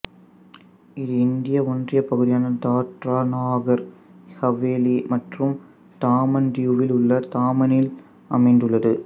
இது இந்திய ஒன்றிய பகுதியான தாத்ரா நாகர் ஹவேலி மற்றும் தாமன் தியூவில் உள்ள தாமனில் அமைந்துள்ளது